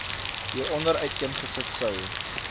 hieronder uiteengesit sou